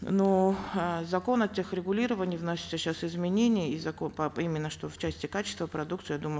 но э в закон о тех регулировании вносятся сейчас изменения и закон по именно что в части качества продукции я думаю